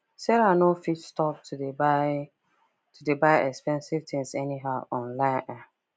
sarah no fit stop to dey buy to dey buy expensive things anyhow online um